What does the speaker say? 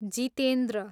Jitendra